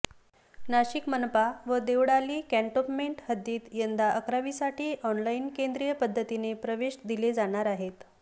नाशिक मनपा व देवळाली कॅण्टोन्मेंट हद्दीत यंदा अकरावीसाठी ऑनलाइन केंद्रीय पद्धतीने प्रवेश दिले जाणार आहेत